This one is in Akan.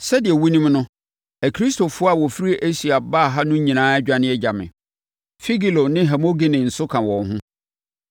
Sɛdeɛ wonim no, Akristofoɔ a wɔfiri Asia baa ha no nyinaa adwane agya me. Figelo ne Hermogene nso ka wɔn ho.